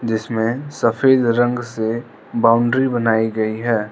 इसमें सफेद रंग से बाउंड्री बनाई गई है।